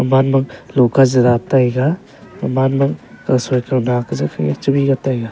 man ma loka zera taiga omanmo tuisa kawna kajaw tebie taiga.